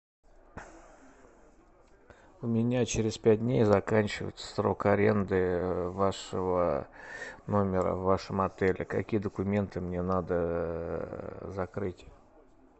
у меня через пять дней заканчивается срок аренды вашего номера в вашем отеле какие документы мне надо закрыть